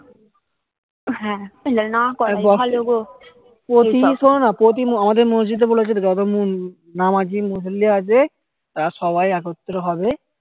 শোনো না প্রতি আমাদের মসজিদ এ বলেছে যত নামাজি মুসলিম আছে তারা সবাই একত্র হবে